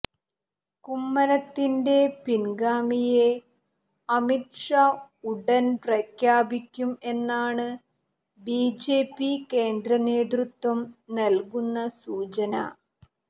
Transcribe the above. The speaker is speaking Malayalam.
കുമ്മനത്തിന്റെ പിന്ഗാമിയെ അമിത് ഷാ ഉടന് പ്രഖ്യാപിക്കും എന്നാണ് ബിജെപി കേന്ദ്രനേതൃത്വം നല്കുന്ന സൂചന